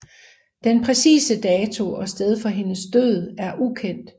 Den præcise dato og sted for hendes død er ukendt